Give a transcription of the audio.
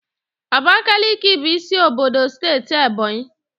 Abakaliki bụ isi obodo steeti Ebọnyị